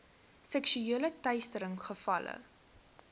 seksuele teistering gevalle